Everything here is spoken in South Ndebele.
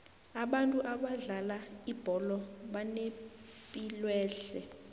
abantu abadlala ibholo banepilwehle